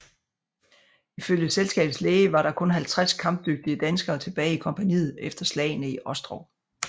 Ifølge selskabets læge var der kun 50 kampdygtige danskere tilbage i kompagniet efter slagene i Ostrov